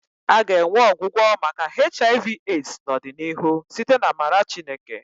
A ga-enwe ọgwụgwọ maka HIV/AIDS n'ọdịnihu site n'amara Chineke